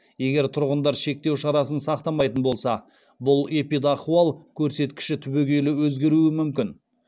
егер тұрғындар шектеу шарасын сақтамайтын болса бұл эпидахуал көрсеткіші түбегейлі өзгеруі мүмкін